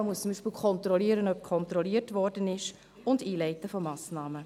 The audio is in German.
Man muss zum Beispiel kontrollieren, ob kontrolliert wurde, und Massnahmen einleiten.